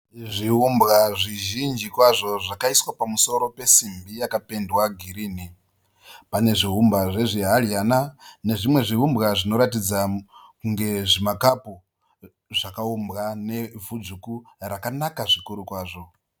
Zviumbwa zvizhinji kwazvo zvakaiswa pamusoro pesimbi yakapendwa girini. Pane zviumbwa zvezvihadyana nezvimwe zviumbwa zvinoratidza kunge zvimakapu zvakaumbwa nevhu dzvuku rakanaka zvikuru kwazvo.